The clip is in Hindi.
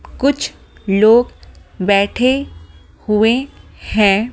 कुछ लोग बैठे हुए हैं।